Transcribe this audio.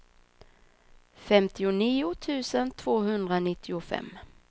femtionio tusen tvåhundranittiofem